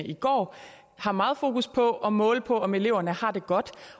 i går har meget fokus på at måle på om eleverne har det godt